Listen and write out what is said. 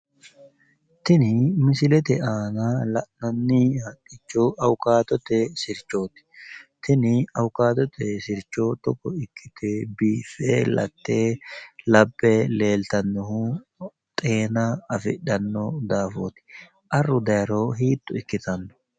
Tini misilete aana la'nanni haqqicho awukaatote sirchooti tini awukaatote sircho togo ikkite biiffe latte laphe leelittannohu xeena afidhanno daafooti arru dayro hiitto ikkitanno?